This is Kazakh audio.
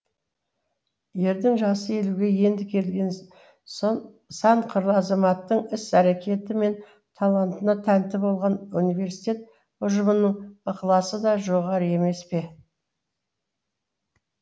ердің жасы елуге енді келген сан қырлы азаматтың іс әрекеті мен талантына тәнті болған университет ұжымының ықыласы да жоғары емес пе